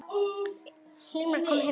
Hilmar kom heim til mín.